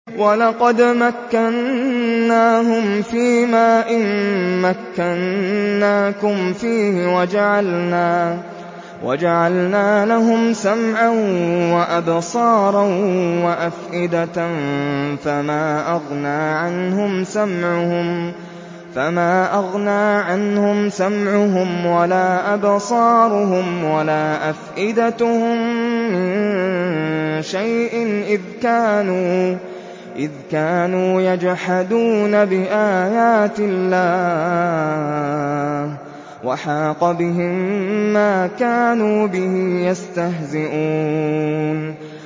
وَلَقَدْ مَكَّنَّاهُمْ فِيمَا إِن مَّكَّنَّاكُمْ فِيهِ وَجَعَلْنَا لَهُمْ سَمْعًا وَأَبْصَارًا وَأَفْئِدَةً فَمَا أَغْنَىٰ عَنْهُمْ سَمْعُهُمْ وَلَا أَبْصَارُهُمْ وَلَا أَفْئِدَتُهُم مِّن شَيْءٍ إِذْ كَانُوا يَجْحَدُونَ بِآيَاتِ اللَّهِ وَحَاقَ بِهِم مَّا كَانُوا بِهِ يَسْتَهْزِئُونَ